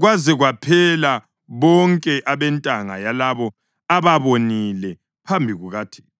kwaze kwaphela bonke abentanga yalabo ababonile phambi kukaThixo.